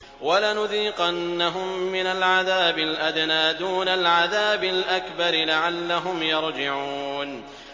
وَلَنُذِيقَنَّهُم مِّنَ الْعَذَابِ الْأَدْنَىٰ دُونَ الْعَذَابِ الْأَكْبَرِ لَعَلَّهُمْ يَرْجِعُونَ